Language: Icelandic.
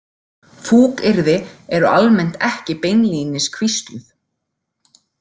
„Fúkyrði“ eru almennt ekki beinlínis hvísluð.